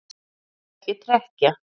Viltu ekki trekkja?